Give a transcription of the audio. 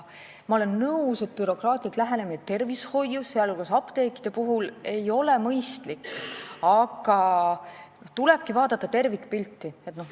Ma olen nõus, et bürokraatlik lähenemine tervishoiu, sh apteekide puhul, ei ole mõistlik, aga tulebki vaadata tervikpilti.